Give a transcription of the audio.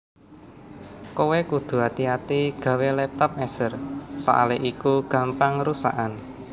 Kowe kudu ati ati gawe laptop Acer soale iku gampang rusakan